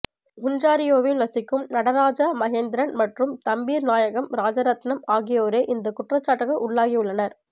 ஒன்ராறியோவில் வசிக்கும் நடராஜா மகேந்திரன் மற்றும் தம்பீர்நாயகம் ராஜரட்ணம் ஆகியோரே இந்தக்குற்றச்சாட்டுக்கு உள்ளாகியுள்ளனர்